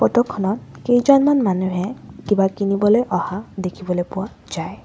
Photo খনত কেইজনমান মানুহে কিবা কিনিবলৈ অহা দেখিবলৈ পোৱা যায়।